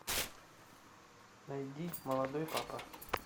найди молодой папа